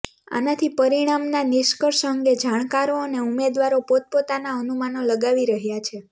આનાથી પરિણામના નિષ્કર્ષ અંગે જાણકારો અને ઉમેદવારો પોતપોતાના અનુમાનો લગાવી રહયા છે